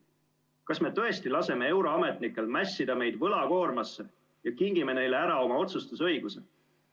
Kas me tõesti laseme euroametnikel mässida meid võlakoormasse ja kingime neile ära oma otsustusõiguse?